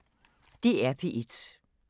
DR P1